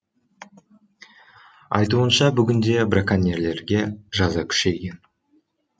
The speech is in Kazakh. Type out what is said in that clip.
айтуынша бүгінде браконьерлерге жаза күшейген